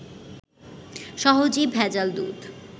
সহজেই ভেজাল দুধ